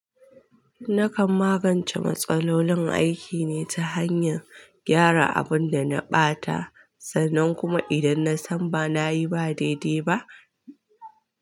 Nakan magance matsalolin aiki ne ta hanyan gyara abun da na ɓata sannan kuma idan na san ba na yi ba daidai ba.